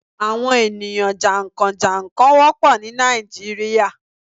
Àwọn ènìyàn jà ń kàn - jà n kàn wópọ̀ ní Nàìjíríà